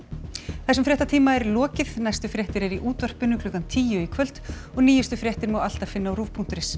þessum fréttatíma er lokið næstu fréttir eru í útvarpi klukkan tíu í kvöld og nýjustu fréttir má alltaf finna á ruv punktur is